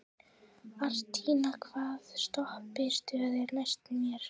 Arntinna, hvaða stoppistöð er næst mér?